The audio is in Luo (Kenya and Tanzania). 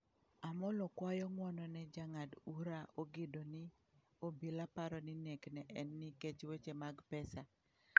Amollo kwayo ng'wono ne jang'ad ura Ogindo ni obila paro ni nek ne en nikech weche mag pesa.